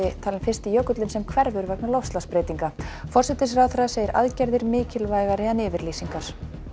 talinn fyrsti jökulinn sem hverfur vegna loftslagsbreytinga forsætisráðherra segir aðgerðir mikilvægari en yfirlýsingar